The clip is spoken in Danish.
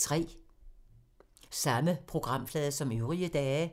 Samme programflade som øvrige dage